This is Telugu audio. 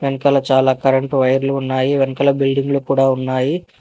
వెనకాల చాలా కరెంటు వైర్లు ఉన్నాయి వెనకాల బిల్డింగులు కూడా ఉన్నాయి.